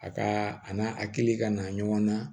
A ka a n'a a hakili ka na ɲɔgɔn na